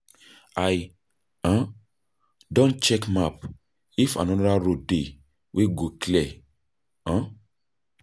I um don check map, if anoda road dey wey go clear. um